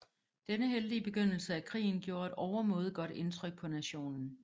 Denne heldige begyndelse af krigen gjorde et overmåde godt indtryk på nationen